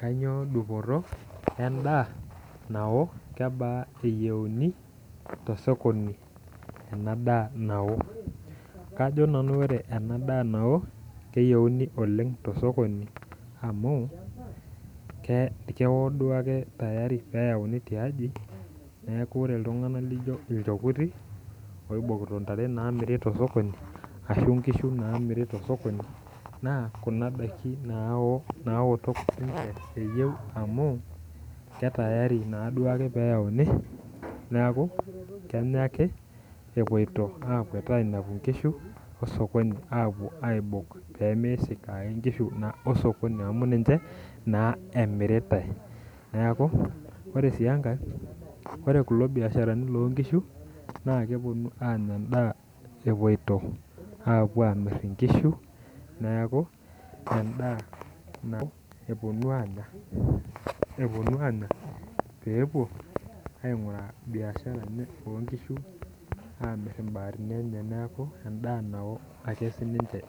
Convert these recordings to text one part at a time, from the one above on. Kanyioo dupoto e endaa nao? Kebaa eyieuni te sokoni enaa daa nao? kajo nanu ore enaa daa nao keyieuni oleng tosokoni amu keo duake tayari peauni tiaji neeku ore iltungana laijo ilchekuti oibokito intare naamiri tosokoni ashu nkishu naamiri tosokoni naa kuna daiki naoto sinche eyieu amu ketayari duake peanu tiaji neeku kenyaa ake epoito akuet ainepu inkishu osokoni apuo aibok peemeisik ake inkishu osokoni amu ninchee naa emiritai , ore sii enkae ore kulo biasharani loo nkishu naa kuponu anya endaa epoitio aamir inkishu neeku endaa nao eponu anyaa peepuo ainguraa biashara oo nkishu amir imbaatini enye neeku enda nao ake sinche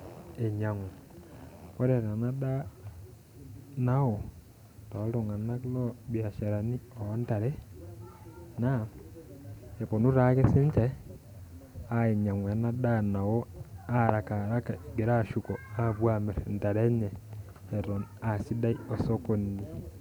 einyangu ore tena daa nao tooltungana loo mbiasharani oo ntare naa eponu taake sininche ainyangu enaa daa nao harakaharaka egira ashuko apuo amir intare enye eton asidai osokoni.